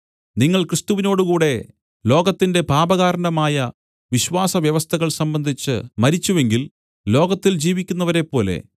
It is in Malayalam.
നിങ്ങൾ ക്രിസ്തുവിനോടുകൂടെ ലോകത്തിന്റെ പാപകാരണമായ വിശ്വാസ വ്യവസ്ഥകൾ സംബന്ധിച്ച് മരിച്ചുവെങ്കിൽ ലോകത്തിൽ ജീവിക്കുന്നവരെപ്പോലെ